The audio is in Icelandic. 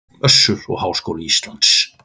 Össur og Háskóli Ísland.